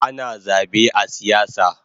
Ana zabe a siyasa